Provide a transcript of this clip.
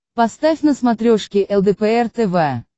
поставь на смотрешке лдпр тв